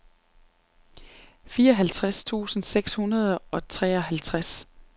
fireoghalvtreds tusind seks hundrede og treoghalvtreds